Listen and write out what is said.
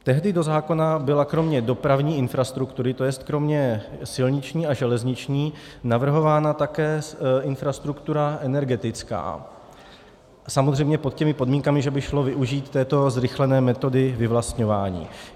Tehdy do zákona byla kromě dopravní infrastruktury, to jest kromě silniční a železniční, navrhována také infrastruktura energetická, samozřejmě pod těmi podmínkami, že by šlo využít této zrychlené metody vyvlastňování.